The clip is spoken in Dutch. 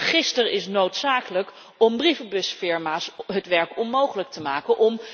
Dat register is noodzakelijk om brievenbusfirma's het werk onmogelijk te maken.